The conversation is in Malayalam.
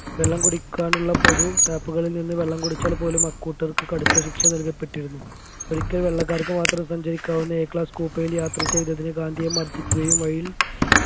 വെള്ളം കുടിക്കാനുള്ള പൊതു tap പുകളിൽ നിന്ന് വെള്ളം കുടിച്ചാൽ പോലും അക്കൂട്ടർക്ക് കടുത്ത ശിക്ഷ നൽകപ്പെട്ടിരുന്നു ഒരിക്കൽ വെള്ളക്കാർക്ക് മാത്രം സഞ്ചരിക്കാവുന്ന A class കൂപ്പയിൽ യാത്ര ചെയ്തതിന് ഗാന്ധിയെ മർദിക്കുകയും വഴിയിൽ